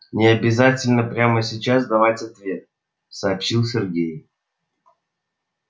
не обязательно прямо сейчас давать ответ сообщил сергей